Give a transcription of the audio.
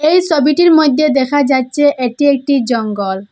এই সবিটির মইদ্যে দেখা যাচ্ছে এটি একটি জঙ্গল।